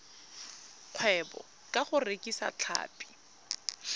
kgwebo ka go rekisa tlhapi